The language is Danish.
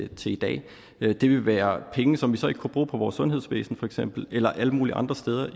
til i dag det ville være penge som vi så ikke kunne bruge på vores sundhedsvæsen for eksempel eller alle mulige andre steder